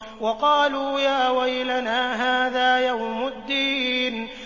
وَقَالُوا يَا وَيْلَنَا هَٰذَا يَوْمُ الدِّينِ